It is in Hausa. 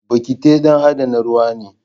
Bokiti don adana ruwa ne.